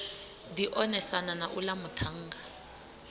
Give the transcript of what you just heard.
ḓi onesana na uḽa muṱhannga